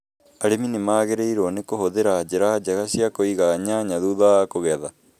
Arĩmi nĩ magĩrĩirũo nĩ kũhũthĩra njĩra njega cia kũiga nyanya thutha wa kũgetha.